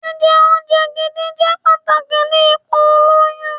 Jíjẹ oúnjẹ gidi jẹ́ pàtàkì ni ipò ìlóyún.